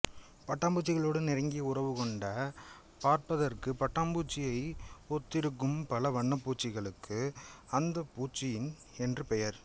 பட்டாம்பூச்சிகளோடு நெருங்கிய உறவு கொண்ட பார்ப்பதற்கு பட்டாம்பூச்சியை ஒத்திருக்கும் பல வண்ணப்பூச்சிகளுக்கு அந்துப்பூச்சி என்று பெயர்